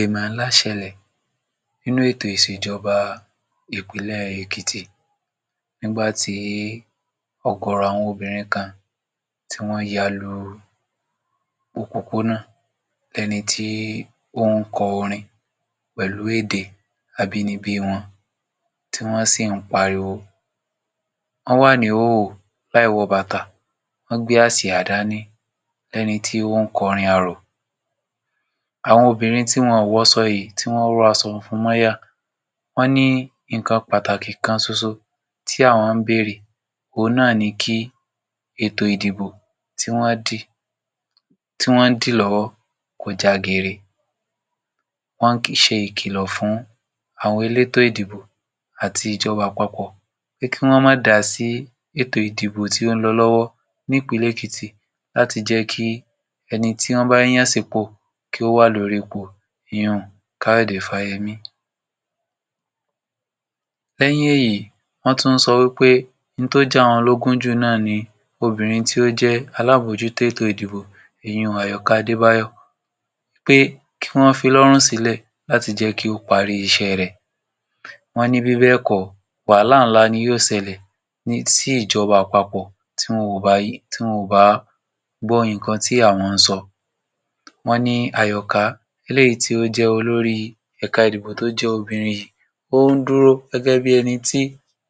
Èèmọ̀ ńlá ṣẹlẹ̀ nínú ètò ìṣèjọba ìpínlẹ̀ Èkìtì. Nígbà tí ọ̀gọ̀rọ̀ àwọn obìnrin kan, tí wọ́n yalu òpópónà ẹni tí ó ń kọ orin pẹ̀lú èdè abínibí wọn tí wọ́n sì ń pariwo. Wọ́n wà ní ìhòhò láì wọ bàtà. Wọ́n gbé àsìá dání, ẹni tí ó ń kọrin arò. Àwọn obìnrin tí wọn ò wọsọ yìí, tí wọ́n rósọ funfun mọ́yà, wọ́n ní nǹkan pàtàkì kan soso tí àwọn ń bèèrè, òhun náà ni kí ètò ìdìbò tí wọ́n dì, tí wọ́n dì lọ́wọ́ kó já gere. Wọ́n ṣe ìkìlọ̀ fún àwọn elétò ìdìbò àti ìjọba àpapọ̀ pé kí wọ́n má dá sí ètò ìdìbò tí ń lọ lọ́wọ́ ní Ìpínlẹ̀ Èkìtì láti jẹ́kí ẹni tí wọ́n bá yàn sípò kí ó wà lórí ipò ìyun Káyọ̀dé Fáyẹmí. Lẹ́yìn èyí wọ́n tún sọ wí pé òun tó jẹ àwọn lógún jù náà ni obìnrin tí ó jẹ́ alábòójútó ètò ìdìbò ìyun Àyọkà Adébáyọ̀ pé kí wọ́n fi lọ́rùn sílẹ̀ láti jẹ́kí ó parí iṣẹ́ rẹ̀. Wọ́n ní bíbẹ̀ẹ̀kọ́ wàhálà ńlá ni ó ṣẹlẹ̀ sí ìjọba àpapọ̀ tí wọn ò ba tí wọn ò bá gbọ́ nǹkan tí àwọn ń sọ. Wọ́n ni Àyọ̀ká, eléyìí tí o jẹ́ olórí ẹ̀ka ìdìbò tó jẹ́ obìnrin ó ń dúró gẹ́gẹ́ bí ẹni tí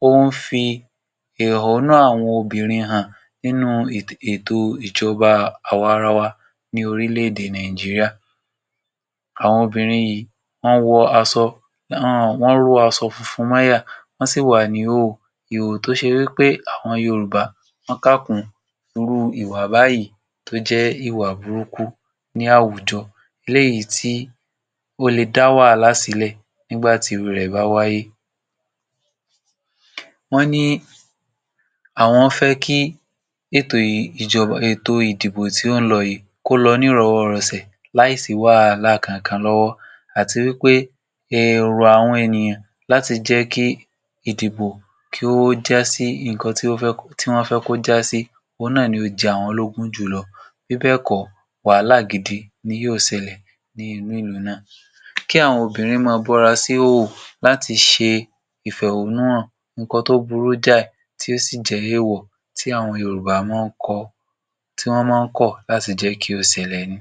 ó ń fi èhónú àwọn obìnrin hàn nínú ètò ìjọba àwa ara wa ní orílè-èdè Nàìjíríà. Àwọn obìnrin yìí wọ́n wọ aṣọ, um wọ́n ró aṣọ funfun mọ́yà wọ́n sì wà ní ìhòhò, ìhòhò tó ṣe wí pé àwọn Yorùbá wọ́n ká kùn irú ìwà báyìí tó jẹ́ ìwà burúkú ní àwùjọ eléyìí tí ó le dá wàhálà sílẹ̀ nígbàtí irú rẹ̀ bá wáyé. Wọ́n ní àwọn fẹ́ kí ètò yìí ìjọba ètò ìdìbò tí ó ń lọ yìí, kó lọ ní ìrọ́wọ́-rọsẹ̀ láì sí wàhálà kan kan àti wí pé èrò àwọn ènìyàn láti jẹ́kí ìdìbò kí ó jásí nǹkan tí ó fẹ́ tí wọ́n fẹ́ kí ó jásí. Òhun náà ni ó jẹ àwọn lógún jù lọ bíbẹ̀ẹ̀kọ́ wàhálà gidi ni yóò ṣẹlẹ̀ ní. Kí àwọn obìnrin máa bọ́ra síhòhò láti ṣe ìfẹhónúhàn nǹkan tó burú jáì tí ó sì jẹ́ èwọ̀ tí àwọn Yorùbá máa ń kọọ́ tí wọ́n máa ń kọ̀ láti jẹ́kí ó ṣẹlẹ̀ ni.